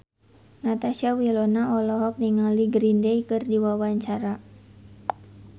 Natasha Wilona olohok ningali Green Day keur diwawancara